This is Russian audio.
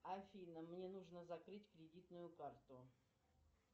афина мне нужно закрыть кредитную карту